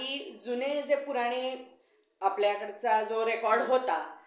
काही जुने जे पुराने आपल्या कडचा जो record होता